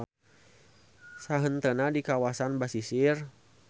Sahenteuna di kawasan basisir.